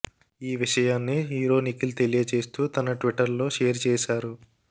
ఈ విషయాన్నీ హీరో నిఖిల్ తెలియచేస్తూ తన ట్విట్టర్ లో షేర్ చేశారు